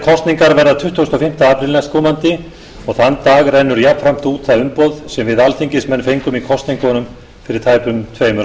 kosningar verða tuttugasta og fimmta apríl næstkomandi og þann dag rennur jafnframt út það umboð sem við alþingismenn fengum í kosningunum fyrir tæpum tveimur árum það mátti sjá strax